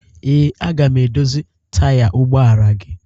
Ee, aga m edozi taya ụgbọala gị